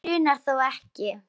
Þig grunar þó ekki?